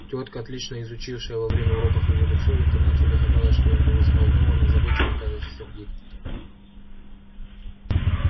тётка отлично изучившая во время уроков его лицо и интонацию догадалась что он был взволнован озабочен и кажется сердит